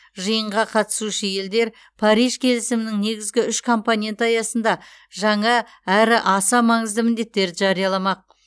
жиынға қатысушы елдер париж келісімінің негізгі үш компоненті аясында жаңа әрі аса маңызды міндеттерді жарияламақ